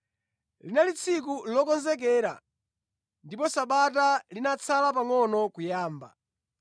Linali tsiku lokonzekera ndipo Sabata linatsala pangʼono kuyamba.